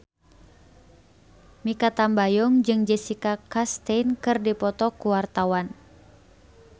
Mikha Tambayong jeung Jessica Chastain keur dipoto ku wartawan